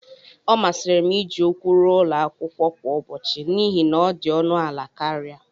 ọ masịrị m iji ụkwụ ruo ụlọ kwa ụbọchị n'ihi na ọ dị ọnụ ala karịa